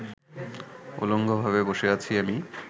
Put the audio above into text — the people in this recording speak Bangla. উলঙ্গভাবে বসে আছি আমি